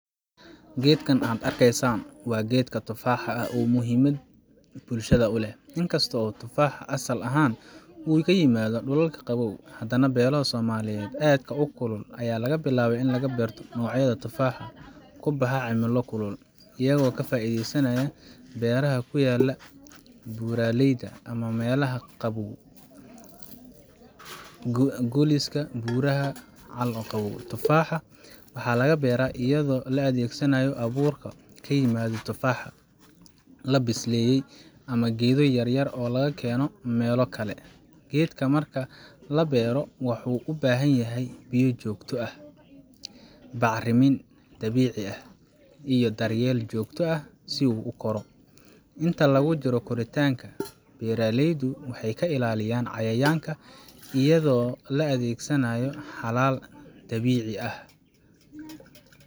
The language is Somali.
Geedkan aad arkaysaan waa geedka tufaaxa ah oo muhimad bulshada u leh. In kasta oo tufaaxa asal ahaan uu ka yimaaddo dhulalka qabow, haddana beelo Soomaaliyeed ayaa laga bilaabay in laga beerto noocyada tufaaxa ku baxa cimilo kulul, iyagoo ka faa’iidaysanaya beeraha ku yaal buuraleyda ama meelaha qabow, Golis ama Buuraha Cal Madow. Tufaaxa waxaa laga beeraa iyadoo la adeegsanayo abuurka ka yimaada tufaaxa la bisleeyay ama geedo yaryar oo laga keeno meelo kale. Geedka marka la beero, wuxuu u baahan yahay biyo joogto ah, bacrimin dabiici ah, iyo daryeel joogto ah si uu u koro. Inta lagu jiro koritaanka, beeraleydu waxay ka ilaaliyaan cayayaanka iyadoo la adeegsanayo xalal dabiici ah.